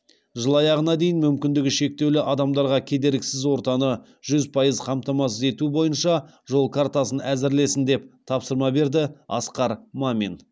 жыл аяғына дейін мүмкіндігі шектеулі адамдарға кедергісіз ортаны жүз пайыз қамтамасыз ету бойынша жол картасын әзірлесін деп тапсырма берді асқар мамин